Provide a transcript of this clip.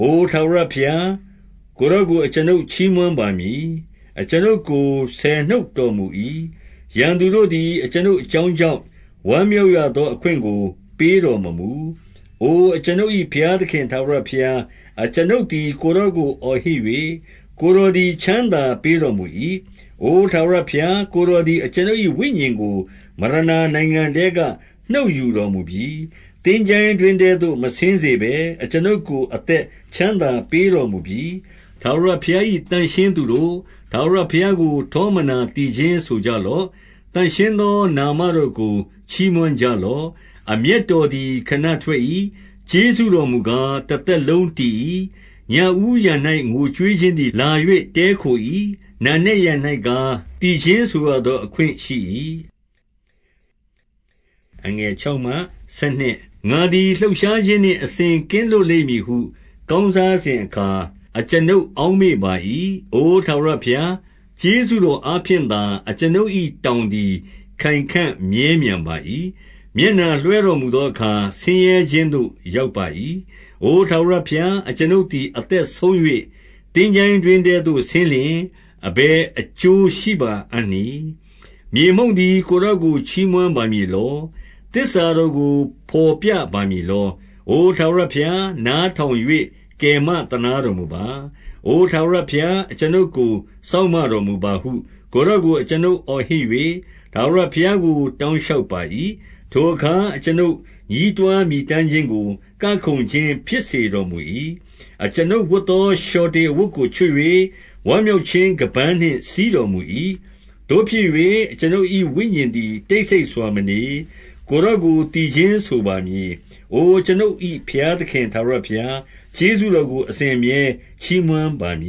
အိုထာဝရဘုရား၊ ကိုယ်တော်ကို အကျွန်ုပ် ချီးမွမ်းပါမည်။ အကျွန်ုပ်ကိုနှုတ်ဆက်တော်မူ၏။ ရန်သူ တို့သည် အကျွန်ုပ်အကြောင်းကြောင့်၊ ဝမ်းမြောက်ရသော အခွင့်ကို ပေးတော်မမူ။ 2 အိုအကျွန်ုပ်၏ ဘုရားသခင် ထာဝရဘုရား၊ အကျွန်ုပ်သည် ကိုယ်တော်ကိုအောဟစ်၍၊ ကိုယ်တော် သည် ချမ်းသာပေးတော်မူ၏။ 3 အိုထာဝရဘုရား၊ ကိုယ်တော်သည် အကျွန်ုပ်၏ ဝိညာဉ်ကို မရဏာနိုင်ငံထဲက နှုတ်ယူတော်မူပြီ။ သင်္ချိုင်း တွင်းထဲသို့ မဆင်းစေဘဲ၊ အကျွန်ုပ်ကို အသက်ချမ်းသာ ပေးတော်မူပြီ။ 4 ထာဝရဘုရား၏ သန့်ရှင်းသူတို့၊ ထာဝရဘုရား ကို ထောမနာသီချင်းဆိုကြလော့။ သန့်ရှင်းသောနာမ တော်ကို ချီးမွမ်းကြလော့။ 5 အမျက်တော်သည် ခဏထွက်၏။ ကျေးဇူးတော် မူကား၊ တသက်လုံးတည်၏။ ညဦးယံ၌ ငိုကြွေးခြင်းသည် လာ၍တည်းခို၏။ နံနက်ယံ၌ကား၊ သီချင်းဆိုသော အခွင့် ရှိ၏။ 6 ငါသည် လှုပ်ရှားခြင်းနှင့် အစဉ်ကင်းလွတ်လိမ့် မည်ဟု ကောင်းစားစဉ်အခါ အကျွန်ုပ်အောက်မေ့ပါ၏။ 7 အိုထာဝရဘုရား၊ ကျေးဇူးတော်အားဖြင့်သာ အကျွန်ုပ်၏တောင်သည် ခိုင်ခံမြဲမြံပါ၏။ မျက်နှာလွှဲတော် မူသောအခါ ဆင်းခြင်းသို့ ရောက်ပါ၏။ 8 အိုထာဝရဘုရား၊ အကျွန်ုပ်သည် အသက်ဆုံး၍၊ 9 သင်္ချိုင်းတွင်းထဲသို့ဆင်းလျှင် အဘယ်အကျိုးရှိပါ အံ့နည်း။ 10 မြေမှုန့်သည် ကိုယ်တော်ကို ချီးမွမ်းပါမည် လော။ သစ္စာတော်ကို ဘော်ပြပါမည်လော။ အိုထာဝရ ဘုရား၊ နားထောင်၍ ကယ်မသနားတော်မူပါ။ အိုထာဝရ ဘုရား၊ အကျွန်ုပ်ကိုစောင့်မတော်မူပါဟု ကိုယ်တော်ကို အကျွန်ုပ်အော်ဟစ်၍၊ ထာဝရဘုရားကို တောင်း လျှောက်ပါ၏။ 11 ထိုအခါ အကျွန်ုပ် ညည်းတွားမြည်တမ်းခြင်းကို ကခုန်ခြင်းဖြစ်စေတော်မူ၏။ အကျွန်ုပ်ဝတ်သော လျှော် တေအဝတ်ကိုချွတ်၍၊ ဝမ်းမြောက်ခြင်း ခါးပန်းနှင့်စည်း တော်မူ၏။ 12 သို့ဖြစ်၍ အကျွန်ုပ်၏ဝိညာဉ်တော်သည် တိတ်ဆိတ်စွာမနေ။ ကိုယ်တော်ကို သီချင်းဆိုပါမည်။ အိုအကျွန်ုပ်၏ ဘုရားသခင်ထာဝရဘုရား၊ ကျေးဇူးတော် ကို အစဉ်အမြဲချီးမွမ်းပါမ